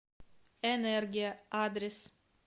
энергия адрес